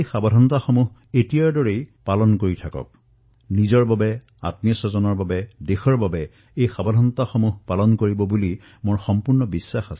মোৰ সম্পূৰ্ণ বিশ্বাস যে আপোনালোকে নিজৰ বাবে নিজৰ দেশৰ বাবে এই সতৰ্কতা নিশ্চয় অৱলম্বন কৰিম